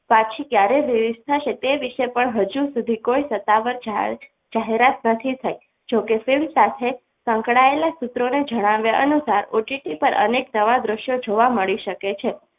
પાછી ક્યારેય release થશે તે વિશે હજુ કોઈ સત્તાવાર જાહેરાત નથી થઈ જોકે film સાથે સંકળાયેલા સૂત્રોને જણાવ્યા અનુસાર OTT પર અનેક નવા દ્રશ્યો જોવા મળી શકે છે.